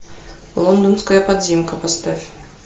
лондонская подземка поставь